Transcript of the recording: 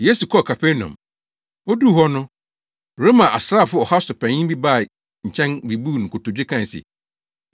Yesu kɔɔ Kapernaum. Oduu hɔ no, Roma asraafo ɔha so panyin bi baa ne kyɛn bebuu no nkotodwe kae se,